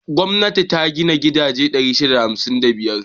Gwamnati ta gina gidaje 657.